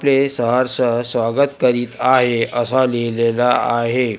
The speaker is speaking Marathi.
प्रे सहर्ष स्वागत करीत आहे असा लिहिलेल आहे.